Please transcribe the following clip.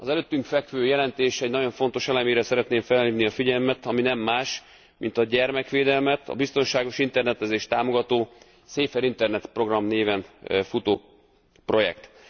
Az előttünk fekvő jelentés egy nagyon fontos elemére szeretném felhívni a figyelmet, ami nem más, mint a gyermekvédelmet, a biztonságos internetezést támogató Safer internet program néven futó projekt.